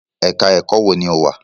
Ẹ̀ka-ẹ̀kọ́ wo ni o wà?